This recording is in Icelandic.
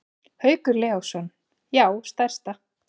Haukur Leósson: Já stærsta.